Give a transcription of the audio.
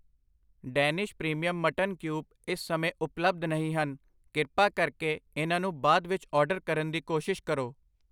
Danish premium mutton cube ਇਸ ਸਮੇਂ ਉਪਲੱਬਧ ਨਹੀਂ ਹਨ, ਕ੍ਰਿਪਾ ਕਰਕੇ ਇਹਨਾਂ ਨੂੰ ਬਾਅਦ ਵਿੱਚ ਆਰਡਰ ਕਰਨ ਦੀ ਕੋਸ਼ਿਸ਼ ਕਰੋ I